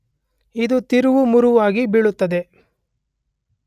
ಇದು ತಿರುವುಮುರುವಾಗಿ ಬೀಳುತ್ತದೆ